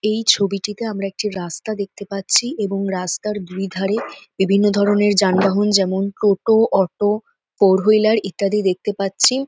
এই ছবিটিতে আমরা একটি রাস্তা দেখতে পাচ্ছি এবং রাস্তার দুধারে বিভিন্ন ধরনের যানবাহন যেমন টোটো অটো ফোর হুইলার ইত্যাদি দেখতে পাচ্ছি ।